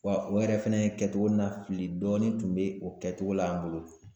Wa o yɛrɛ fɛnɛ kɛcogo na fili dɔɔnin tun be o kɛcogo la an bolo.